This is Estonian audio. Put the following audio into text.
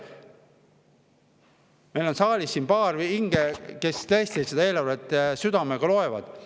Meil on saalis siin paar hinge, kes tõesti seda eelarvet südamega loevad.